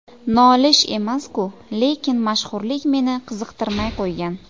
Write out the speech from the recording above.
Nolish emas-ku, lekin mashhurlik meni qiziqtirmay qo‘ygan.